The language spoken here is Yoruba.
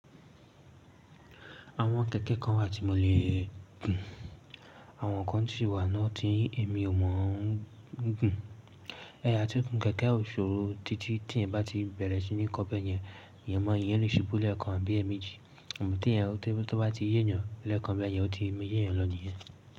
Àwọn kẹ̀kẹ́ kan wà tí mo lè gun àwọn kan sì wà náà tí èmi ò mọ̀ gun atí gun kẹ̀kẹ́ ò ṣòrò títí tí eyan bá ti bẹ̀rẹ̀ sí ní kọ bẹ́ yẹn, eyan mọn, eeyan lè ṣubú lẹ́ẹ̀kan àbí ẹẹ̀méjì, àmọ́ tó bá ti yèyàn lẹ́ẹ̀kan bẹ́ẹ̀ yẹn ó ti yèyàn lọ níyẹn.